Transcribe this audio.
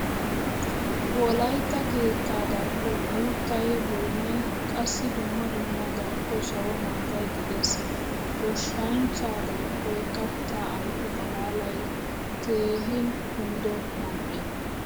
Wolaytta keettaa darkkon uuttay, boynay, qassi dumma dumma darkko sawo maatay de'ees. Goshshanchchaa darkkoy katta ayfe xaalalay keehin kumido man'ee.